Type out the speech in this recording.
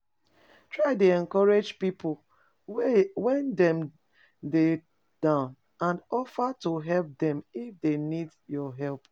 Try de encourage pipo when dem de down and offer to help dem if dey need di help